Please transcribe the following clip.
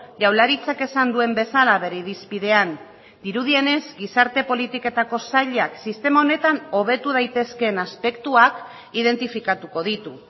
jaurlaritzak esan duen bezala bere irizpidean dirudienez gizarte politiketako sailak sistema honetan hobetu daitezkeen aspektuak identifikatuko ditu